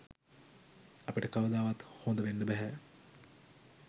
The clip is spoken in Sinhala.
අපිට කවදාවත් හොඳවෙන්න බැහැ.